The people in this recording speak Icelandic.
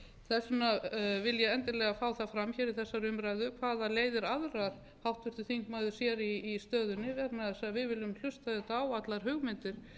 þess vegna vil ég endilega fá það fram hér í þessari umræðu hvaða leiðir aðrar háttvirtur þingmaður sér í stöðunni vegna þess að við viljum hlusta auðvitað á allar hugmyndir